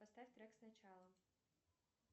поставь трек сначала